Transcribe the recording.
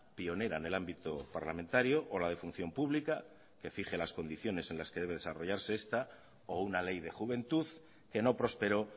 pionera en el ámbito parlamentario o la de función pública que fije las condiciones en las que debe desarrollarse esta o una ley de juventud que no prosperó